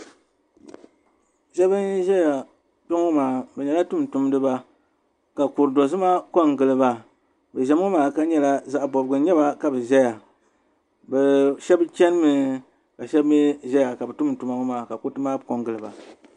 Sheba n ʒɛya kpeŋɔ maa bɛ nyɛla tumtumdiba ka kuri'dozima kongiliba bɛ ʒɛmi ŋ. maa ka di nyɛla zaɣa bobgu n nyɛba ka bɛ ʒɛya sheba chenimi ka sheba mee zaya ka bɛ tumdi tuma ŋ. maa ka kuriti maa kongiliba.